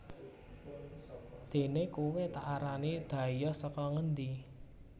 déné kowé tak arani dhayoh saka ngendi